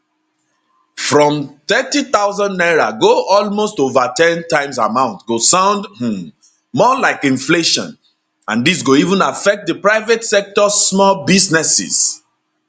from 30000 naira go almost ova ten times amount go sound um more like inflation and dis go even affect di private sectors small businesses